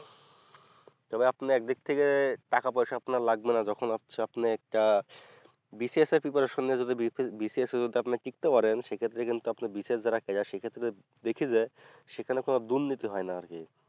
তবে আপনি একদিক থেকে টাকা পয়সা আপনার লাগবেনা যখন আপসে আপনি একটা BCS এর preparation নিয়ে BCS এ যদি আপনি টিকতে পারেন সেক্ষেত্রে কিন্তু আপনি BCS দ্বারা সেক্ষেত্রে দেখি যে সেখানে কোনো দুর্নীতি হয় না আর কি